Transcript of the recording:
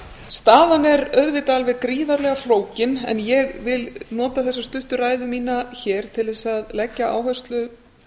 staðan er auðvitað alveg gríðarlega flókin en ég vil nota þessa stuttu ræðu mína hér til þess að leggja áherslu